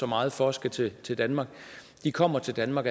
meget for skal til til danmark kommer til danmark